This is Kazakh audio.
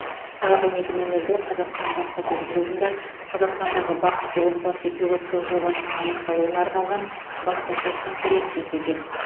сағат он екі нөл нөлде қазақстан баспасөз клубында қазақстандағы бақытты отбасы пилоттық жобасының аяқталуына арналған баспасөз конференциясы өтеді